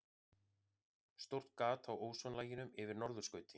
Stórt gat á ósonlaginu yfir norðurskauti